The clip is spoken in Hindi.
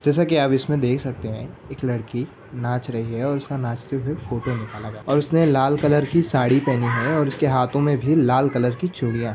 जैसा की आप इसमे देख सकते ह एक लड़की नाच रही है और उसका नाचते हुए फोटो निकाला जा रहा हा और उसने लाल कलर की साड़ी पहनी है और उसके हाथों मैं भी लाल कलर की चुड़िया है।